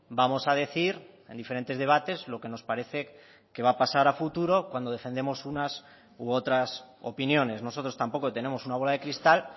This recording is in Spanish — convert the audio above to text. vamos a decir en diferentes debates lo que nos parece que va a pasar a futuro cuando defendemos unas u otras opiniones nosotros tampoco tenemos una bola de cristal